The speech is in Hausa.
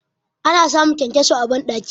Ana samun kyankyaso a bandaki.